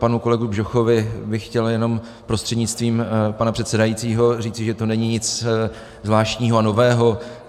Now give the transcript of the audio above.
Panu kolegovi Bžochovi bych chtěl jenom prostřednictvím pana předsedajícího říct, že to není nic zvláštního a nového.